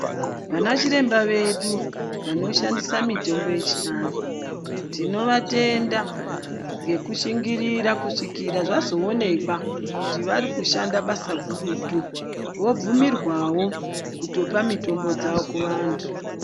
Vana chiremba vedu vanoshandisa mitombo yechianhu, tinovatenda nhekushingirira kuzvika zvazoonekwa kuti varikushanda basa gurutu vabvumirwawo kutopa mitombo dzavo kuvantu.